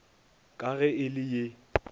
ka ge e le ye